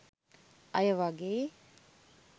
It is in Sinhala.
අය වගෙයි.